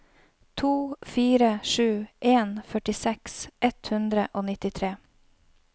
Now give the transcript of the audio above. to fire sju en førtiseks ett hundre og nittitre